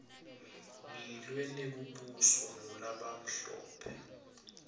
ngilwe nekubuswa ngulabamhlophe